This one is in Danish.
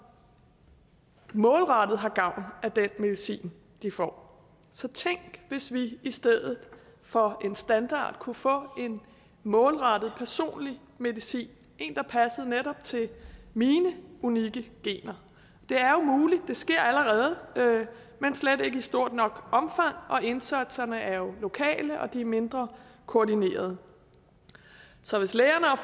målrettet har gavn af den medicin de får så tænk hvis vi i stedet for en standard kunne få en målrettet personlig medicin en der passede netop til mine unikke gener det er jo muligt det sker allerede men slet ikke i stort nok omfang og indsatserne er jo lokale og de er mindre koordinerede så hvis lægerne og